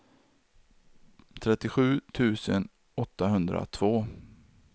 trettiosju tusen åttahundratvå